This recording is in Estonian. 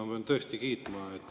Ma pean teid tõesti kiitma.